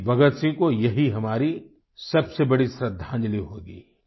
शहीद भगत सिंह को यही हमारी सबसे बड़ी श्रद्धांजलि होगी